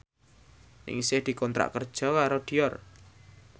Ningsih dikontrak kerja karo Dior